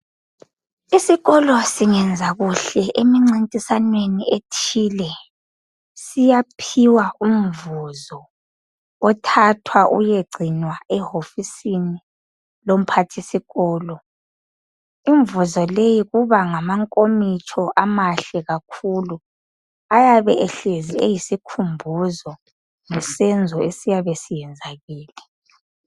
Isikolo singenza kuhle emincintiswaneni ethile siyaphiwa umvuzo othathwa uyegcinwa ehofisini yomphathisikolo. Imvuzo leyo kuba ngamankomitsho amahle kakhulu ayabe ehlezi eyisikhumbuzo ngesenzo esiyabe siyenzakele.